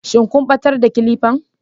shin kun batar da clipper